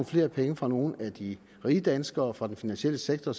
flere penge fra nogle af de rige danskere og fra den finansielle sektor